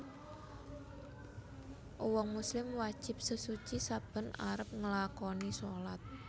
Uwong muslim wajib sesuci saben arep nglakani salat